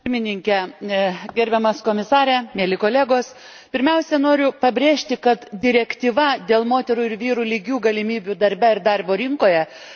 Pirmiausia noriu pabrėžti, kad Direktyva dėl moterų ir vyrų lygių galimybių darbe ir darbo rinkoje tikrai yra sunkiai įgyvendinama valstybėse narėse.